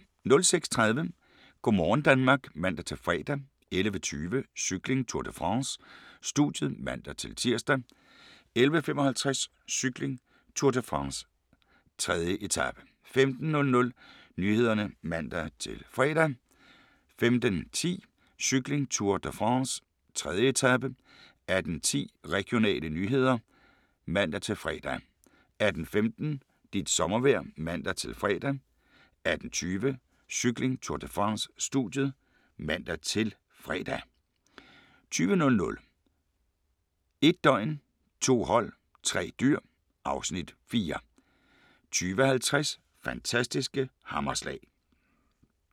06:30: Go' morgen Danmark (man-fre) 11:20: Cykling: Tour de France - studiet (man-tir) 11:55: Cykling: Tour de France - 3. etape 15:00: Nyhederne (man-fre) 15:10: Cykling: Tour de France - 3. etape 18:10: Regionale nyheder (man-fre) 18:15: Dit sommervejr (man-fre) 18:20: Cykling: Tour de France - studiet (man-fre) 20:00: 1 døgn, 2 hold, 3 dyr (Afs. 4) 20:50: Fantastiske hammerslag